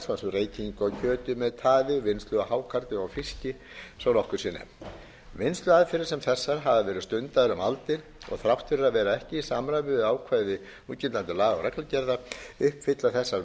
reykingu á kjöti með taði og vinnslu á hákarli og fiski svo nokkuð sé nefnt vinnsluaðferðir sem þessar hafa verið stundaðar um aldir og þrátt fyrir að vera ekki í samræmi við ákvæði núgildandi laga og reglugerða uppfylla þessar